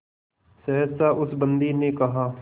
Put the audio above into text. सहसा उस बंदी ने कहा